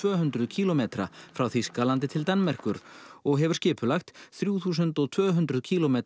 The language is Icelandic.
hundruð kílómetra frá Þýskalandi til Danmerkur og hefur skipulagt þrjú þúsund og tvö hundruð kílómetra